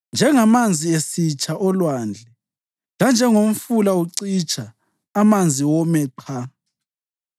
Njengamanzi esitsha olwandle lanjengomfula ucitsha amanzi wome qha,